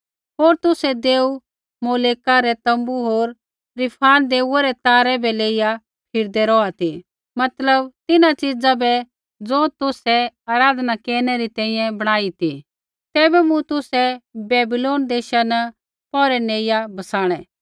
होर तुसै देऊ मोलेका रै तोम्बू होर रिफान देऊऐ रै तारै बै लेइआ फिरदै रौहा ती मतलब तिन्हां च़ीज़ा बै ज़ो तुसै आराधना केरनै री तैंईंयैं बणाई ती तैबै मूँ तुसै बैबीलोन देशा न पौरै नेइआ बसाणै